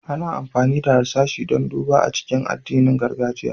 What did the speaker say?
Ana amfani da harsashi don duba a cikin addinin gargajiya.